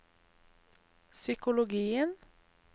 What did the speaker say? psykologien